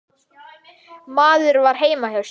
Maður var heima hjá sér.